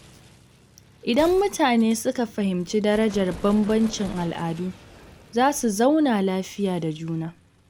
Idan mutane suka fahimci darajar bambancin al’adu, za su zauna lafiya da juna.